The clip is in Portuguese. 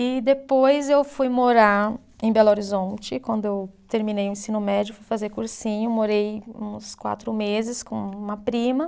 E depois eu fui morar em Belo Horizonte, quando eu terminei o ensino médio, fui fazer cursinho, morei uns quatro meses com uma prima.